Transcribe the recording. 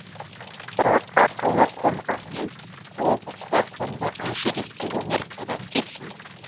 бірақ ақылы қонғанмен о баста қонбаған жүйріктік өнер қайдан келсін